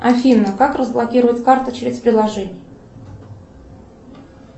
афина как разблокировать карту через приложение